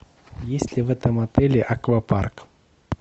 есть ли в этом отеле аквапарк